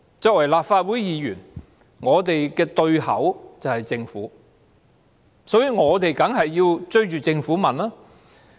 作為立法會議員，我們的對口便是政府，因此，我們當然是要追着政府詢問。